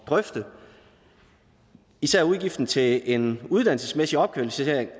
drøfte især udgiften til en uddannelsesmæssig opkvalificering